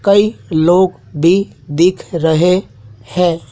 कई लोग भी दिख रहे है।